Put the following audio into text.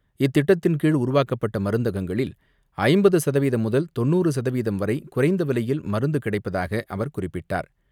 இந்த திட்டத்தின் கீழ் உருவாக்கப்பட்ட மருந்தகங்களில் ஐம்பது சதவீதம் முதல் தொண்ணூறு சதவீதம் வரை குறைந்த விலையில் மருந்து கிடைப்பதாக அவர் குறிப்பிட்டார்.